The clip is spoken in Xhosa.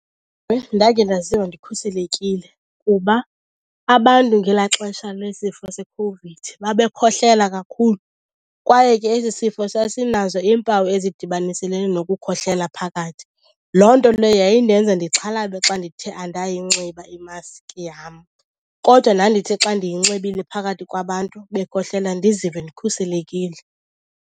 Ndakhe ndaziva ndikhuselekile kuba abantu ngelaa xesha lesifo seCOVID babekhohlela kakhulu kwaye ke esi sifo sasinazo iimpawu ezidibaniselene nokukhohlela phakathi. Loo nto leyo yayindenza ndixhalabe xa ndithe andayinxiba imaski yam. Kodwa ndandithi xa ndiyinxibile phakathi kwabantu bekhohlela ndizive ndikhuselekile.